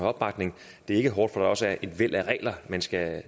opbakning det er ikke hårdt fordi der også er et væld af regler man skal